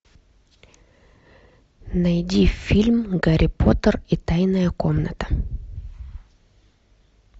найди фильм гарри поттер и тайная комната